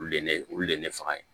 Olu le ye ne olu le ye ne faga yen